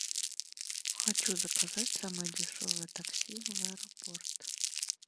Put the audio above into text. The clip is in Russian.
хочу заказать самое дешевое такси в аэропорт